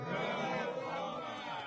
Sağ ol, Rusiya!